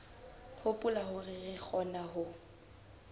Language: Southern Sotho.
hopola hore re kgona ho